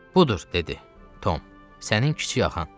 Budur, dedi Tom, sənin kiçik axan.